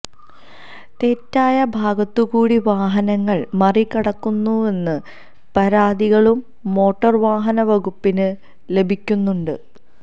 തെറ്റായ ഭാഗത്തുകൂടെ വാഹനങ്ങള് മറികടക്കുന്നുവെന്ന പരാതികളും മോട്ടോര് വാഹനവകുപ്പിന് ലഭിക്കുന്നുണ്ട്